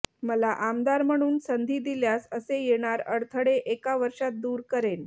मला आमदार म्हणून संधी दिल्यास असे येणार अडथळे एका वर्षात दूर करेन